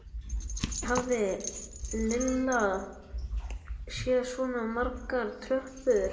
Aldrei hafði Lilla séð svona margar tröppur.